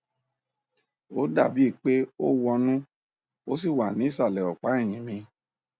ó dàbí i pé ó wọnú ó sì wà ní ìsàlẹ ọpá ẹyìn mi